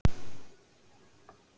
Heilsast þeir með vináttu.